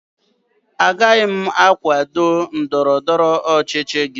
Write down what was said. Agaghị m akwado otu ndọrọ ndọrọ ọchịchị gị